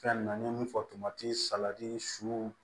Fɛn nunnu n ye min fɔ kimati salati su